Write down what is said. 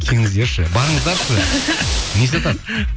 келіңіздерші барыңыздаршы не сатады